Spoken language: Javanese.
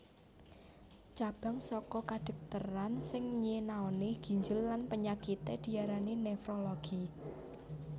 Cabang saka kadhokteran sing nyinaoni ginjel lan panyakité diarani nefrologi